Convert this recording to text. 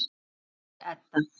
Þín systir, Edda.